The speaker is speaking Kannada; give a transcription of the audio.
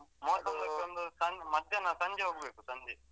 ಮೂವತ್ತೊಂದಿಗೊಂದು ಮಧ್ಯಾಹ್ನ ಸಂಜೆ ಹೋಗ್ಬೇಕು ಸಂಜೆ.